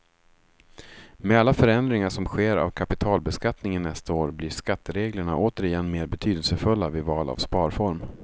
Med alla förändringar som sker av kapitalbeskattningen nästa år blir skattereglerna åter igen mer betydelsefulla vid val av sparform.